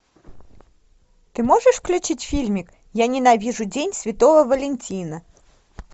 ты можешь включить фильмик я ненавижу день святого валентина